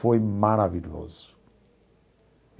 Foi maravilhoso.